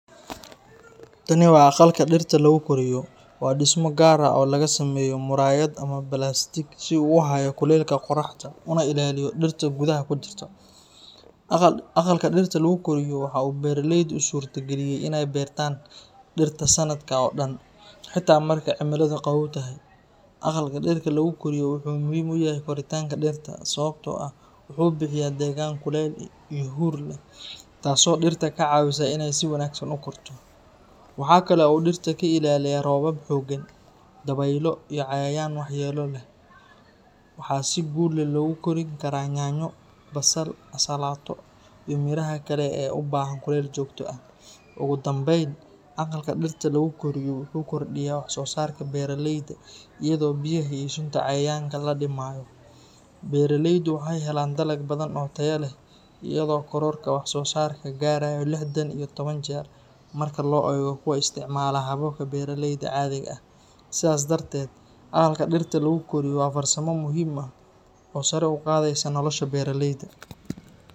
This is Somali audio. Tani waa aqalka dhirta lagu koriyo. Waa dhismo gaar ah oo laga sameeyo muraayad ama balaastiig si uu u hayo kulaylka qoraxda una ilaaliyo dhirta gudaha ku jirta. Aqalka dhirta lagu koriyo waxa uu beeraleyda u suurtageliyaa in ay beertaan dhirta sanadka oo dhan, xitaa marka cimiladu qabow tahay. Aqalka dhirta lagu koriyo wuxuu muhiim u yahay koritaanka dhirta, sababtoo ah wuxuu bixiyaa deegaan kulayl iyo huur leh, taasoo dhirta ka caawisa inay si wanaagsan u korto. Waxa kale oo uu dhirta ka ilaaliyaa roobab xooggan, dabaylo iyo cayayaan waxyeelo leh. Waxaa si guul leh loogu kori karaa yaanyo, basal, ansalaato, iyo miraha kale ee u baahan kulayl joogto ah. Ugu dambayn, aqalka dhirta lagu koriyo wuxuu kordhiyaa wax-soo-saarka beeraleyda, iyadoo biyaha iyo sunta cayayaanka la dhimayo. Beeraleydu waxay helaan dalag badan oo tayo leh, iyadoo kororka wax-soo-saarka gaarayo lixdan iyo toban jeer marka loo eego kuwa isticmaala hababka beeraleyda caadiga ah. Sidaas darteed, aqalka dhirta lagu koriyo waa farsamo muhiim ah oo sare u qaadaysa nolosha beeraleyda.